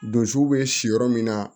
Donsow bɛ si yɔrɔ min na